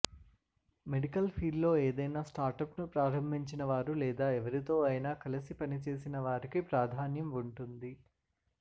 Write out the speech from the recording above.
medical ఫీల్డ్లో ఏదైనా స్టార్టప్ను ప్రారంభించిన వారు లేదా ఎవరితో అయినా కలిసి పనిచేసిన వారికి ప్రాధాన్యం ఉంటుంది